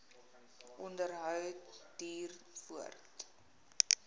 onderhou duur voort